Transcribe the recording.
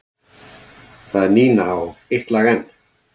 Það er Nína og Eitt lag enn.